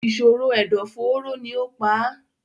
ìṣòro ẹ̀dọ̀-fóóró ni ó pa á.